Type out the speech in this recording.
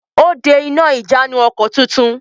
Ó de iná ìjánu-ọkọ̀ tuntun.